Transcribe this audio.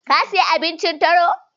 Ka sayi abincin taro.